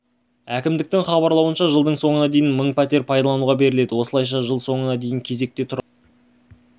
кімдіктің хабарлауынша жылдың соңына дейін мың пәтер пайдалануға беріледі осылайша жыл соңына дейін кезекте тұрған әр